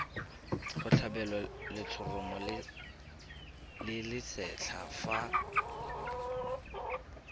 tlhabelwa letshoroma le lesetlha fa